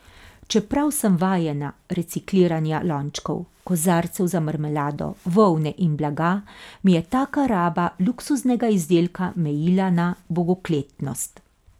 Čeprav sem vajena recikliranja lončkov, kozarcev za marmelado, volne in blaga, mi je taka raba luksuznega izdelka mejila na bogokletnost.